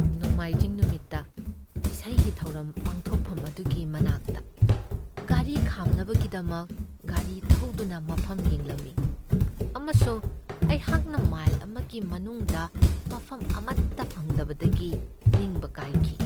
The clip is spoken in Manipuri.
ꯅꯣꯡꯃꯥꯏꯖꯤꯡ ꯅꯨꯃꯤꯠꯇ ꯏꯁꯩꯒꯤ ꯊꯧꯔꯝ ꯄꯥꯡꯊꯣꯛꯐꯝ ꯑꯗꯨꯒꯤ ꯃꯅꯥꯛꯇ ꯒꯥꯔꯤ ꯈꯥꯝꯅꯕꯒꯤꯗꯃꯛ ꯒꯥꯔꯤ ꯊꯧꯗꯨꯅ ꯃꯐꯝ ꯌꯦꯡꯂꯝꯃꯤ ꯑꯃꯁꯨꯡ ꯑꯩꯍꯥꯛꯅ ꯃꯥꯏꯜ ꯑꯃꯒꯤ ꯃꯅꯨꯡꯗ ꯃꯐꯝ ꯑꯃꯠꯇ ꯐꯪꯗꯕꯗꯒꯤ ꯅꯤꯡꯕ ꯀꯥꯏꯈꯤ ꯫